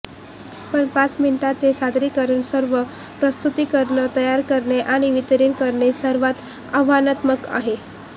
पण पाच मिनिटांचे सादरीकरण सर्व प्रस्तुतीकरणे तयार करणे आणि वितरीत करणे सर्वात आव्हानात्मक आहे